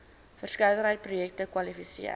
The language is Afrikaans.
verskeidenheid projekte kwalifiseer